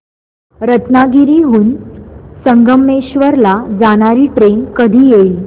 रत्नागिरी हून संगमेश्वर ला जाणारी ट्रेन कधी येईल